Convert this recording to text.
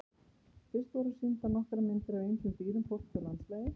Fyrst voru sýndar nokkrar myndir af ýmsum dýrum, fólki og landslagi.